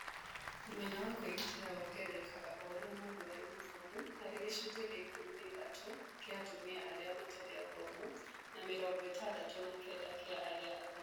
Ũmenyo wa kũĩgitĩra wongererekaga oũrĩa mũndũ arĩ mũthomu arĩ gĩcunjĩ kĩa ikũmi na ithatũ kĩa atumia arĩa matarĩ athomu na mĩrongo ĩtandatu na kenda kĩa arĩa athomu